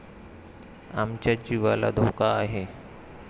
आमच्या जीवाला धोका आहे.